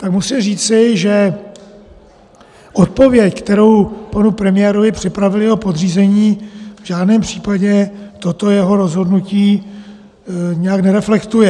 Tak musím říci, že odpověď, kterou panu premiérovi připravili jeho podřízení, v žádném případě toto jeho rozhodnutí nijak nereflektuje.